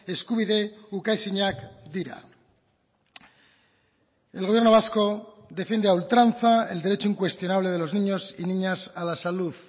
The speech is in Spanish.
eskubide ukaezinak dira el gobierno vasco defiende a ultranza el derecho incuestionable de los niños y niñas a la salud